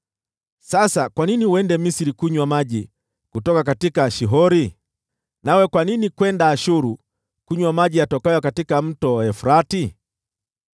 Sasa kwa nini uende Misri kunywa maji ya Shihori? Nawe kwa nini kwenda Ashuru kunywa maji ya Mto Frati?